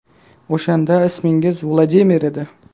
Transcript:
O‘shanda ismingiz Vladimir edi.